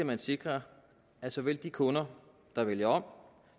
man sikrer at såvel de kunder der vælger om